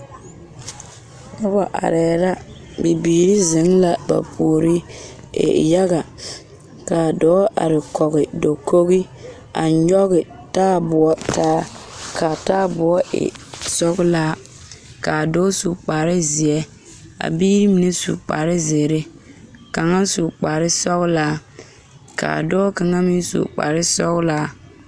Noba arɛɛ la bibiiri zeŋ la ba puori e yaga k,a dɔɔ are kɔge dakogi a nyɔge taaboɔ taa k,a taaboɔ e sɔglaa k,a dɔɔ su kparezeɛ a biiri mine su kparezeere kaŋa su kparesɔglaa k,a dɔɔ kaŋa meŋ su kparesɔglaa.